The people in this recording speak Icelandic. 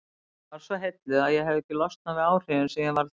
Ég varð svo heilluð að ég hefi ekki losnað við áhrifin sem ég varð fyrir.